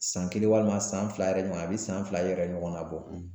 San kelen walima san fila yɛrɛ ɲɔgɔn a bɛ san fila yɛrɛ ɲɔgɔnna bɔ.